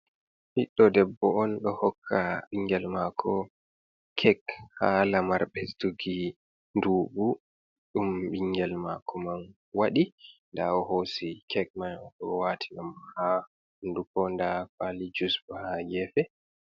Ɓiɗdo debbo on do hokka bingel mako cake ha lamar ɓesduggi nduɓu ɗum ɓingel mako man waɗi da o hosi cake mai o wati ha hundupo da pali juice bo ha gefe.